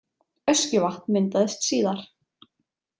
Öskjuvatn myndaðist síðar.